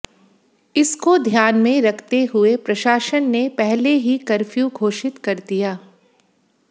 इसको ध्यान में रखते हुए प्रशासन ने पहले ही कर्फ्यु घोषित कर दिया